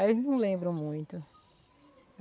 Aí eles não lembram muito.